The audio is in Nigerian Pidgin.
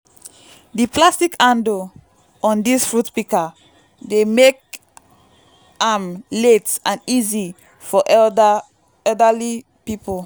di plastic handle on dis fruit pika dey mek am lait and easy for elderly pipul